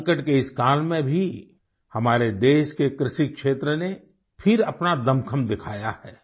संकट के इस काल में भी हमारे देश के कृषि क्षेत्र ने फिर अपना दमख़म दिखाया है